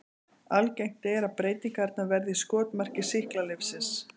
Algengt er að breytingarnar verði í skotmarki sýklalyfsins.